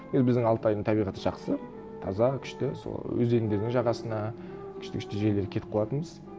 енді біздің алтайдың табиғаты жақсы таза күшті сол өзендердің жағасына күшті күшті жерлерге кетіп қалатынбыз